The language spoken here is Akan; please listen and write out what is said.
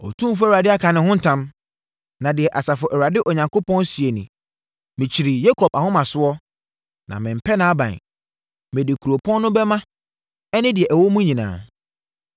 Otumfoɔ Awurade aka ne ho ntam na deɛ Asafo Awurade Onyankopɔn seɛ nie: “Mekyiri Yakob ahomasoɔ na memmpɛ nʼaban; mede kuropɔn no bɛma ɛne deɛ ɛwɔ mu nyinaa.”